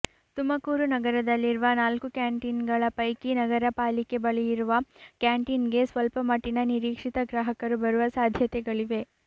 ತುಮಕೂರು ನಗರದಲ್ಲಿರುವ ನಾಲ್ಕು ಕ್ಯಾಂಟೀನ್ಗಳ ಪೈಕಿ ನಗರ ಪಾಲಿಕೆ ಬಳಿಯಿರುವ ಕ್ಯಾಂಟೀನ್ಗೆ ಸ್ವಲ್ಪ ಮಟ್ಟಿನ ನಿರೀಕ್ಷಿತ ಗ್ರಾಹಕರು ಬರುವ ಸಾಧ್ಯತೆಗಳಿವೆ